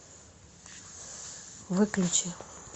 выключи